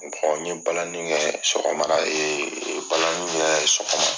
n ɲe balani kɛ sɔgɔma da balani kɛ sɔgɔma